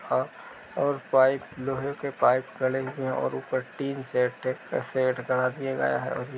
और पाइप लोहे के पाइप गड़े हुए है। और टीनशेड सेट करा दिये गये हैं ।